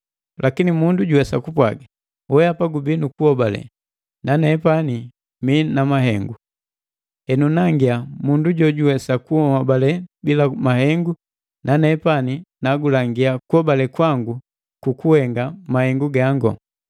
Lakini mundu juwesa kupwaaga: “Wehapa gubii nu kunhobale, nepani mii na mahengo!” Henu, “Nangiya mundu jojuwesa kunhobale bila mahengu, nanepani nagulangia kuhobale kwangu kukuhenga mahengu gangu.”